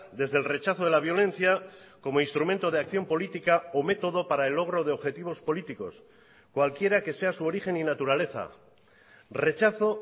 desde el rechazo de la violencia como instrumento de acción política o método para el logro de objetivos políticos cualquiera que sea su origen y naturaleza rechazo